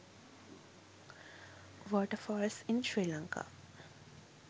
waterfalls in sri lanka